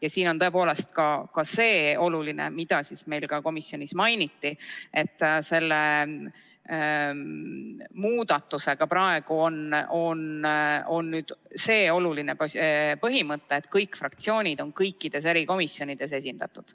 Ja siin on tõepoolest seegi oluline, mida meil ka komisjonis mainiti: selle muudatusega peetakse silmas seda olulist põhimõtet, et kõik fraktsioonid on kõikides erikomisjonides esindatud.